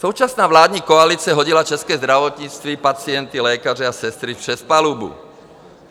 Současná vládní koalice hodila české zdravotnictví, pacienty, lékaře a sestry přes palubu.